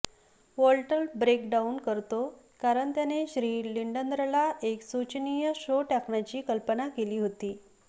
Walter break down करतो कारण त्याने श्री लिंडनरला एक शोचनीय शो टाकण्याची कल्पना केली होती